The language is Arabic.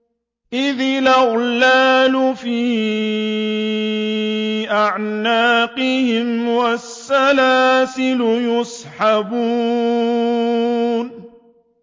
إِذِ الْأَغْلَالُ فِي أَعْنَاقِهِمْ وَالسَّلَاسِلُ يُسْحَبُونَ